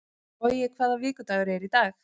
Logi, hvaða vikudagur er í dag?